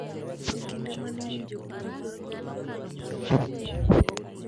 E kinde ma ne iwinjo bura mar golo Gavana mar Wajir e loch